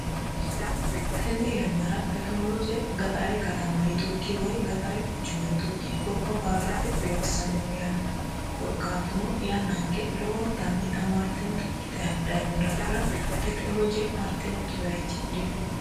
Tenne yannara tekkinolojje gaxxara katama yitukkini woyi gaxxara kuchuma yitukkini gobba baalatte loosano yaate korikkatuno yannanikke lowwonittani tamaritinotta ikkitani hadhani noo daafo tekkinolojje marittinokki bayichi dino